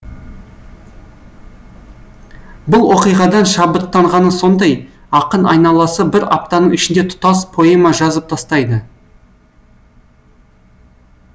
бұл оқиғадан шабыттанғаны сондай ақын айналасы бір аптаның ішінде тұтас поэма жазып тастайды